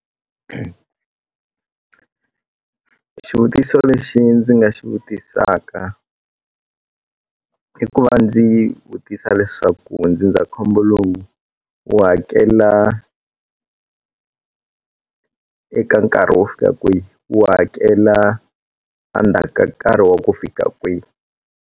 Xivutiso lexi ndzi nga xi vutisaka i ku va ndzi vutisa leswaku ndzindzakhombo lowu wu hakela eka nkarhi wo fika kwihi wu hakela endzhaku ka nkarhi wa ku fika kwihi.